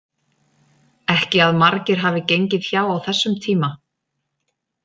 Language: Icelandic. Ekki að margir hafi gengið hjá á þessum tíma.